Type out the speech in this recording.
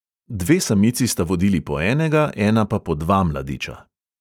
Dve samici sta vodili po enega, ena pa po dva mladiča.